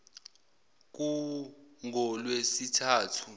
kungolwesithathu